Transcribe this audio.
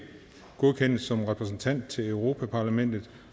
godkendes som repræsentant til europa parlamentet